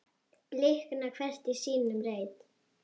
blikna hvert í sínum reit